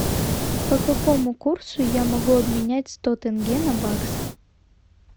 по какому курсу я могу обменять сто тенге на баксы